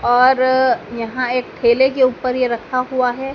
और यहां एक ठेले के ऊपर ये रखा हुआ है।